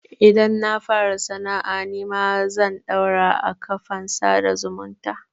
Idan na fara sana'a nima zan ɗaura a kafan sada zumunta.